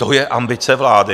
To je ambice vlády?